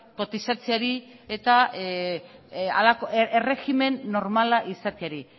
kotizatzeari eta halako erregimen normala izateari